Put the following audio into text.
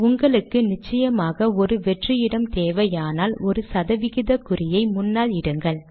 உங்களுக்கு நிச்சயமாக ஒரு வெற்று இடம் தேவையானால் ஒரு சதவிகித குறியை முன்னால் இடுங்கள்